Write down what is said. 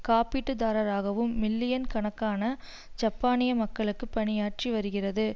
காப்பீட்டுத்தரகராகவும் million கணக்கான ஜப்பானிய மக்களுக்கு பணியாற்றி வருகிறது